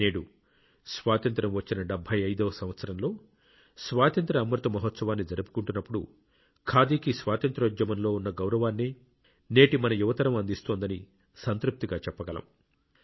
నేడు స్వాతంత్య్రం వచ్చిన 75 వ సంవత్సరంలో స్వాతంత్ర్య అమృత మహోత్సవాన్ని జరుపుకుంటున్నప్పుడు ఖాదీకి స్వాతంత్ర్యోద్యమంలో ఉన్న గౌరవాన్నే నేటి మన యువ తరం అందిస్తోందని సంతృప్తిగా చెప్పగలం